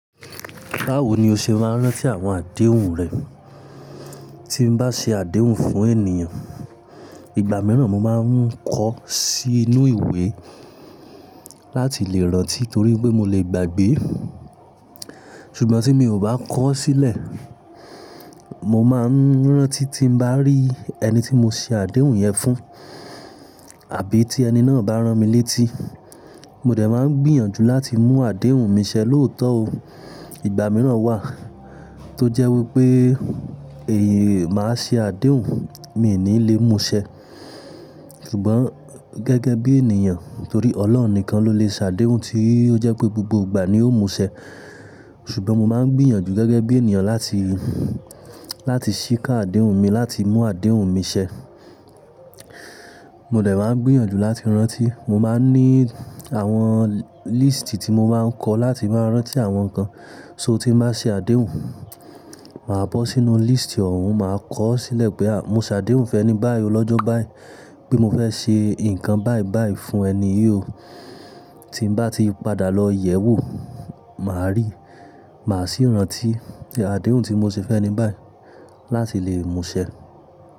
Báwo ni o ṣe máa ń rántí àwọn àdéhùn rẹ? Tí n bá ṣe àdéhùn fún ènìyàn, ìgbà mìíràn mo máa ń kọ sí inú ìwé láti lè rántí torí pé mo lè gbàgbé. Ṣùgbọ́n tí mi ò bá koọ sílẹ̀, mo máa ń rántí tí n bá rí ẹni tí mo ṣe àdéhùn yẹn fún àbí tí ẹni náà bá rán mi létí. Mo dẹ̀ máa ń gbìyànjú láti mú àdéhùn mi ṣẹ lóòótọ́ o. Ìgbà mìíràn wà tó jẹ́ wípé ee, máa ṣe àdéhùn, mi n ní lè mú n ṣẹ. Ṣùgbọ́n gẹ́gẹ́ bí ènìyàn torí Ọlọ́run nìkan ló lè ṣe àdéhùn tí ó jẹ́ pé gbogbo ìgbà ni ó mú ṣẹ. Ṣùgbọ́n mo máa ń gbìyànjú gẹ́gẹ́ bí ènìyàn láti, láti ṣíká àdéhùn mi, láti mú àdéhùn mi ṣẹ. Mo dẹ̀ máa ń gbìyànjú láti rántí. Mo máa ń ní àwọn listi tí mo máa ń kọ láti máa rántí àwọn kan. So tí mo bá ṣe àdéhùn, màá bọ́ sínú listi ọ̀hún, màá kọ ọ́ sílẹ̀ pé à mọ́ ṣe àdéhùn fẹ́ ẹni báyi ò lọ́jọ́ báyi, pé mo fẹ́ ṣe nǹkan báyi báyi fún ẹni yìí o. Tí n bá ti padà lọ yẹ̀wò, màá rí, màá sì rántí àdéhùn tí mo ṣe fẹ́ ẹni báyi láti lèe mú ṣẹ.